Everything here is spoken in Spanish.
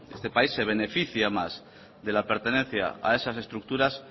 este país se beneficia además de la pertenencia a esas estructuras